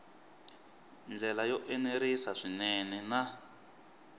ndlela yo enerisa swinene na